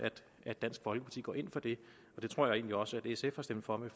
at dansk folkeparti går ind for det det tror jeg egentlig også at sf har stemt for ved